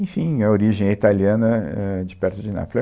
Enfim, a origem é italiana, ãhn, de perto de Nápoles.